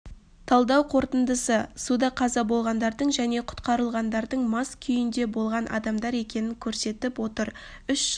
талдау қорытындысы суда қаза болғандардың және құтқарылғандардың масаң күйде болған адамдар екенін көрсетіп отыр үш жыл